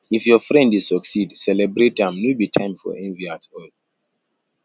if your friend dey succeed celebrate am no be time for envy at all